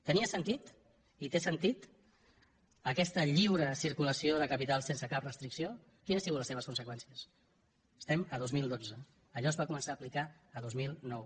tenia sentit i té sentit aquesta lliure circulació de capitals sense cap restricció quines han sigut les seves conseqüències estem a dos mil dotze allò es va començar a aplicar el dos mil nou